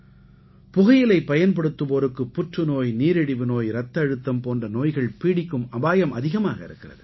புகையிலை பயன்படுத்துவோருக்கு புற்றுநோய் நீரிழிவு நோய் இரத்த அழுத்தம் போன்ற நோய்கள் பீடிக்கும் அபாயம் அதிகமாக இருக்கிறது